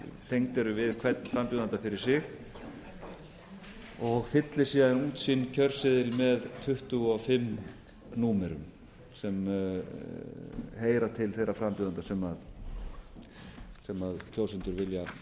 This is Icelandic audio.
tengd eru við hvern frambjóðanda fyrir sig og fyllir síðan út sinn kjörseðil með tuttugu og fimm númerum sem heyra til þeirra frambjóðenda sem kjósendur